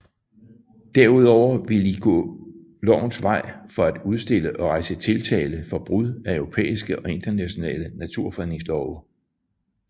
Derudover ville de gå lovens vej for at udstille og rejse tiltale for brud af europæiske og internationale naturfredningslove